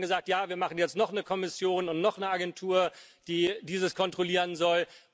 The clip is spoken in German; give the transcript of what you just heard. Immer wird dann gesagt Ja, wir machen jetzt noch eine Kommission und noch eine Agentur, die dieses kontrollieren soll.